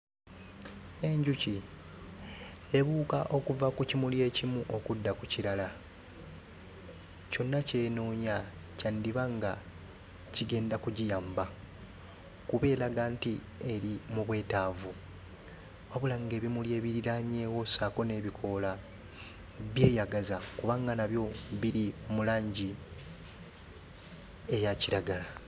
Enjuki ebuuka okuva ku kimuli ekimu okudda ku kirala. Kyonna ky'enoonya kyandiba nga kigenda kugiyamba kuba eraga nti eri mu bwetaavu. Wabula ng'ebimuli ebiriraanyeewo ssaako n'ebikoola byeyagaza kubanga nabyo biri mu langi eya kiragala.